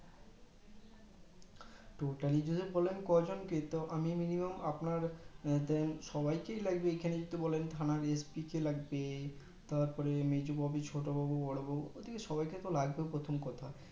ঐটার জন্যই তো বললাম কজনকে minimum আপনার সবাইকেই লাগবে এখানে যদি বলেন থানার SP কে লাগবে তারপরে মেজবাবু ছোটবাবু বড়োবাবু ওদেরকে সবাই কে তো লাগবে প্রথম কথা